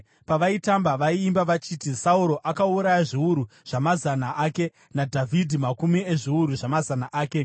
Pavaitamba, vaiimba vachiti: “Sauro akauraya zviuru zvamazana ake, naDhavhidhi makumi ezviuru zvamazama ake.”